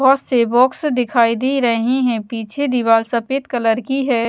बहोत से बॉक्स दिखाई दे रहे हैं पीछे दीवार सफेद कलर की है।